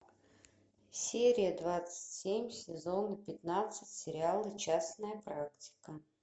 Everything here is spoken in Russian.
серия двадцать семь сезона пятнадцать сериала частная практика